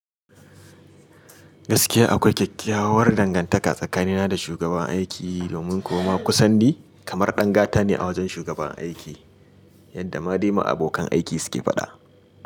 Gaskiya akwai kyakkyawar dangantaka tsakanina da shugaban aiki domin kuwa ma kusan ni kamar dan gata ne a wajen shugaban aiki yadda ma dai ma abokan aiki suke faɗa.